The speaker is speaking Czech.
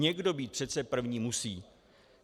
Někdo být přece první musí.